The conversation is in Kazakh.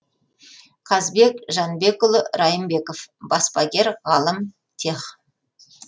казбек жанбекұлы раймбеков баспагер ғалым тех